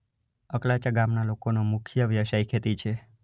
અકલાચા ગામના લોકોનો મુખ્ય વ્યવસાય ખેતી છે.